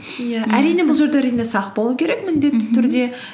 иә әрине бұл жерде әрине сақ болу керек міндетті түрде